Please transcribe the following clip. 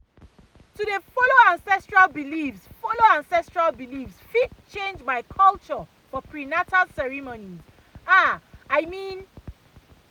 to dey follow ancestral beliefs follow ancestral beliefs fit change by culture for prenatal ceremonies ah i mean